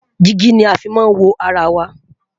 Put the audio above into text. digi ní a fí má n wọ ará wà